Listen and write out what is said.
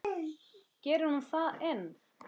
Gerir hún það enn?